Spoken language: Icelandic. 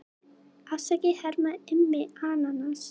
Afsakið herra Immi ananas.